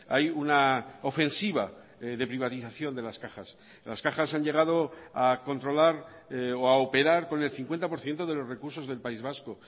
hay una ofensiva de privatización de las cajas las cajas han llegado a controlar o a operar con el cincuenta por ciento de los recursos del país vasco